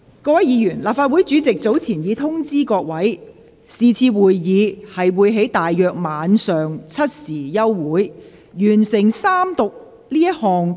各位議員，立法會主席早前已作出通知，是次會議將於大約晚上7時休會。